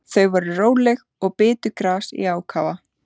Þau voru róleg og bitu gras í ákafa.